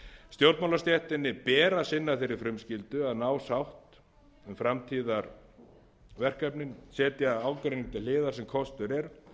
ber að sinna þeirri frumskyldu að ná sátt um framtíðarverkefnin setja ágreining til hliðar sem kostur er